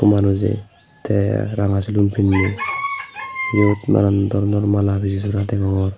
manuje te ranga silum pinne iyut nanan doronor mala piji sora degongor.